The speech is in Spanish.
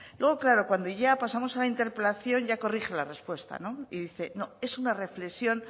luego claro cuando ya pasamos a la interpelación ya corrige la respuesta no y dice no es una reflexión